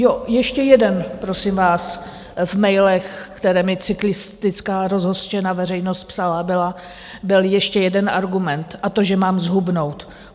Jo, ještě jeden, prosím vás, v mailech, které mi cyklistická rozhořčená veřejnost psala, byl ještě jeden argument, a to že mám zhubnout.